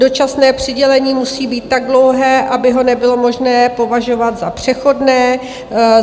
Dočasné přidělení musí být tak dlouhé, aby ho nebylo možné považovat za přechodné.